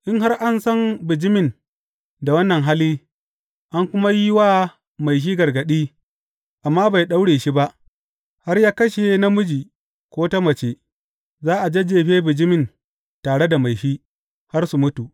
In, har an san bijimin da wannan hali, an kuma yi wa mai shi gargaɗi, amma bai ɗaura shi ba, har ya kashe namiji ko ta mace, za a jajjefe bijimin tare da mai shi, har su mutu.